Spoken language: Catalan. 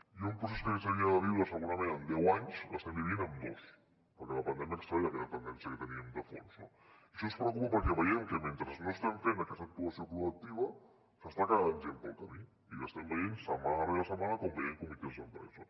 i un procés que s’havia de viure segurament en deu anys l’estem vivint en dos perquè la pandèmia ha accelerat aquella tendència que teníem de fons no això ens preocupa perquè veiem que mentre no estem fent aquesta actuació proactiva s’està quedant gent pel camí i ho estem veient setmana rere setmana quan veiem comitès d’empresa